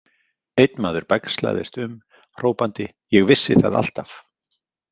Einn maður bægslaðist um, hrópandi Ég vissi það alltaf!